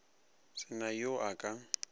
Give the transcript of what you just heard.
se na yo a ka